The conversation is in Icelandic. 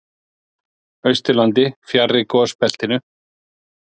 Austurlandi, fjarri gosbeltinu.